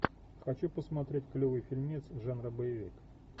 хочу посмотреть клевый фильмец жанра боевик